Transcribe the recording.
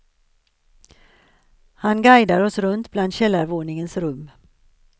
Han guidar oss runt bland källarvåningens rum.